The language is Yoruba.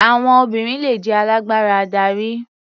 Àwọn obìnrin le jẹ́ alágbára adarí.